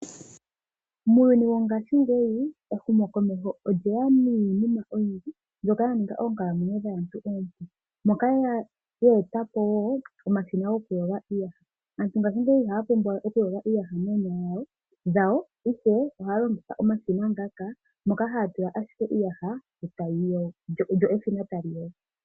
Muunyuni wongaashingeyi ehumokomeho olye ya niinima oyindji mbyoka ya ninga oonkalamwenyo dhaantu oompu moka ye e ta po woo omashina gokuyoga iiyaha. Aantu ngashingeyi iha ya pumbwa we oku yoga iiyaha noonyala dhawo ihe ohaya longitha omashina ngaka moka haya tula ashike iiyaha lyo eshina tali yogo.